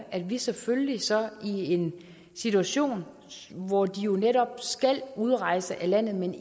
at det selvfølgelig så i en situation hvor de jo netop skal udrejse af landet men